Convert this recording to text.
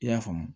I y'a faamu